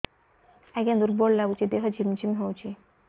ଆଜ୍ଞା ଦୁର୍ବଳ ଲାଗୁଚି ଦେହ ଝିମଝିମ ହଉଛି